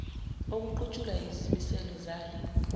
okuqutshulwa yizimiselo zale